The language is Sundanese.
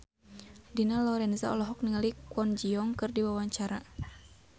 Dina Lorenza olohok ningali Kwon Ji Yong keur diwawancara